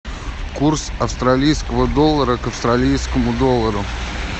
курс австралийского доллара к австралийскому доллару